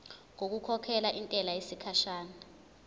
ngokukhokhela intela yesikhashana